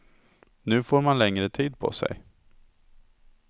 Nu får man längre tid på sig.